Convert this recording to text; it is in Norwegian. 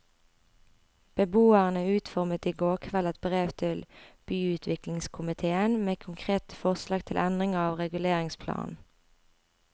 Beboerne utformet i går kveld et brev til byutviklingskomitéen med konkrete forslag til endringer av reguleringsplanen.